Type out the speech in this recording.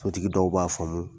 Sotigi dɔw b'a faamu.